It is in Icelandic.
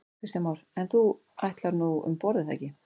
Kristján Már: En þú ætlar nú um borð er það ekki?